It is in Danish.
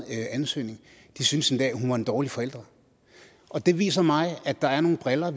ansøgning de synes endda at hun var en dårlig forælder det viser mig at der er nogle briller